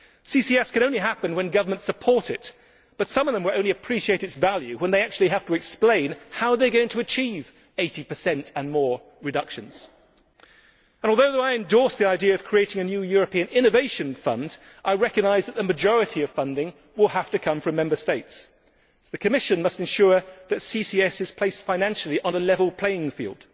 CCS can only happen when governments support it, but some of them will only appreciate its value when they actually have to explain how they are going to achieve reductions of 80 and more. Although I endorse the idea of creating a new European innovation fund, I recognise that the majority of funding will have to come from Member States. The Commission must ensure that CCS is placed financially on a level playing field.